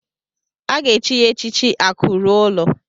A ga-echi ya echichi Akụ ruo ụlọ.